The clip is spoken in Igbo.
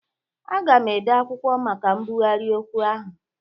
Aga m ede akwụkwọ maka mbụgharị okwu ahụ